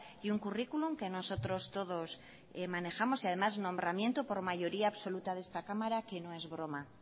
y un currículum que nosotros todos manejamos y además nombramiento por mayoría absoluta de esta cámara que no es broma